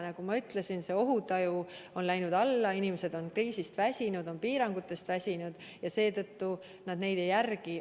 Nagu ma ütlesin, ohutaju on läinud alla, inimesed on kriisist väsinud, on piirangutest väsinud ja seetõttu nad neid ei järgi.